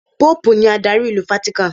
Póòpù ni adarí ìlú Fátíkán.